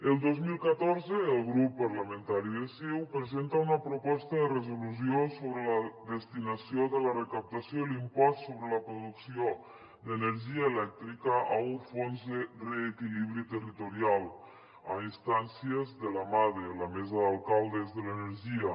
el dos mil catorze el grup parlamentari de ciu presenta una proposta de resolució sobre la destinació de la recaptació de l’impost sobre la producció d’energia elèctrica a un fons de reequilibri territorial a instàncies de la made la mesa d’alcaldes de l’energia